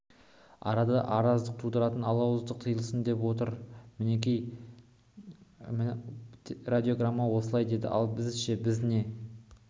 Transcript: арада араздық тудыратын алауыздық тыйылсын деп отыр міне радиограмма осылай дейді ал біз ше біз не